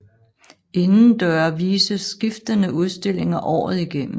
Indendøre vises skiftende udstillinger året igennem